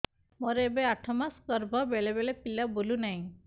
ମୋର ଏବେ ଆଠ ମାସ ଗର୍ଭ ବେଳେ ବେଳେ ପିଲା ବୁଲୁ ନାହିଁ